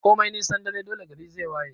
Komai nisan dare dole gari zai waye